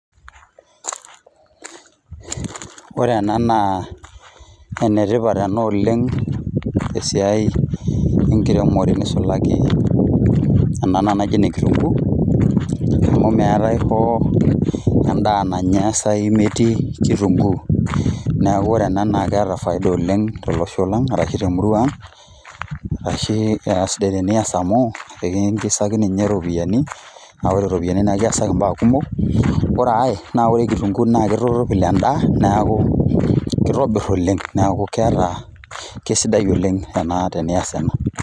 Ore ena naa enetipat ena oleng' tesiai enkiremore neisulaki ena naji enekitunguu, amu meetai hoo endaa nainosayu metii kitunguu, neeku ore ena naa keeta faida oleng' tolosho lang' arashu temurua ang', arashu aisidai tenias amu ekiingizaki ninye ropiyiani naa ore ropiyiani naa ekiasaki mbaa kumok. Ore ai naa ore kitunguu naa keitorropil endaa, neeku keitobirr oleng' neeku keeta, keisidai oleng' ena tenias ena.